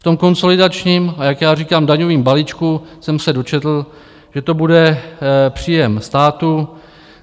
V tom konsolidačním a jak já říkám, daňovém balíčku jsem se dočetl, že to bude příjem státu.